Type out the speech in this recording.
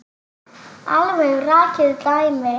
Alveg rakið dæmi.